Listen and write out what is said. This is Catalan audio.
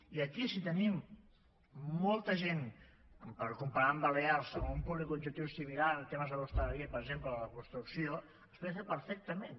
i aquí si tenim molta gent per comparar amb balears o un públic objectiu similar en temes de l’hostaleria per exemple o de la construcció es podria fer perfectament